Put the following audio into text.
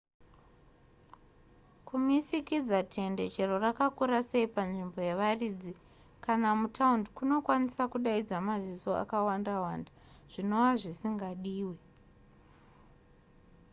kumisikidza tende chero rakakura sei panzvimbo yevaridzi kana mutaundi kunokwanisa kudaidza maziso akawanda wanda zvinova zvisingadiwe